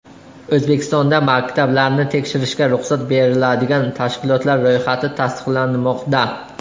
O‘zbekistonda maktablarni tekshirishga ruxsat beriladigan tashkilotlar ro‘yxati tasdiqlanmoqda.